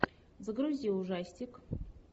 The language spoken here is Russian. загрузи ужастик